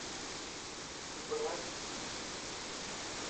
брэд питт